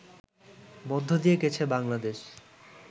মধ্যে দিয়ে গেছে বাংলাদেশ